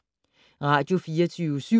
Radio24syv